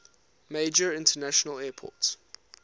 major international airport